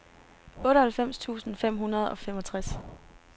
otteoghalvfems tusind fem hundrede og femogtres